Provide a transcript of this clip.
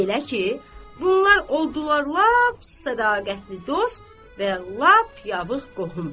Belə ki, bunlar oldular lap sədaqətli dost və lap yaxın qohum.